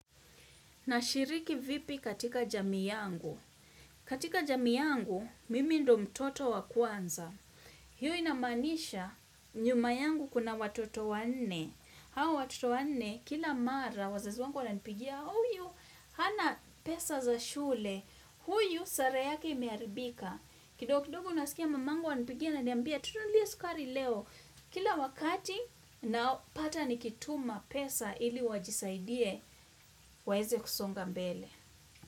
Nashiriki vipi katika jamii yangu? Katika jamii yangu, mimi ndo mtoto wa kwanza. Hiyo inamanisha nyuma yangu kuna watoto wa nne. Hawa watoto wa nne, kila mara, wazezi wangu wananipigia, huyu, hana pesa za shule, huyu, sare yake imeharibika. Kidogo kidogo unasikia mamangu ananipigia aniambia, tununulie sukari leo, kila wakati, napata nikituma pesa ili wajisaidie, waeze kusonga mbele.